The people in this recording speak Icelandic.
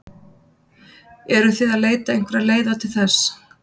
Eruð þið að leita einhverra leiða til þess?